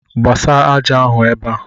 Gbasa ájá ahụ ebe a!